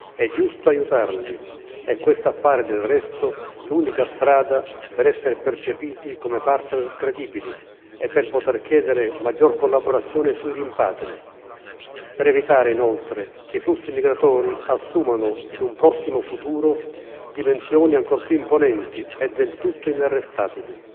È giusto aiutarli e questa appare, del resto, l'unica strada per essere percepiti come partner credibili e per poter chiedere maggior collaborazione sui rimpatri, per evitare, inoltre, che i flussi migratori assumano, in un prossimo futuro, dimensioni ancora più imponenti e del tutto inarrestabili,